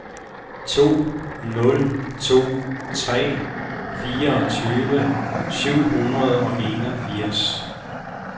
to nul to tre fireogtyve syv hundrede og enogfirs